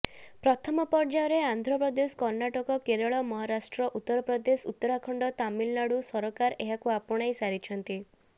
ପ୍ରଥମ ପର୍ଯ୍ୟାୟରେ ଆନ୍ଧ୍ରପ୍ରଦେଶ କର୍ଣ୍ଣାଟକ କେରଳ ମହାରାଷ୍ଟ୍ର ଉତ୍ତରପ୍ରଦେଶ ଉତ୍ତରାଖଣ୍ଡ ତାମିଲନାଡୁ ସରକାର ଏହାକୁ ଆପଣାଇ ସାରିଛନ୍ତି